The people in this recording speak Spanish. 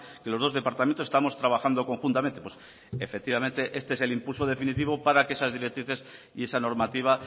que los dos departamentos estamos trabajando conjuntamente efectivamente este es el impulso definitivo para que esas directrices y esa normativa